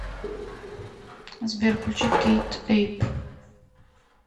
сбер включи кейт эйп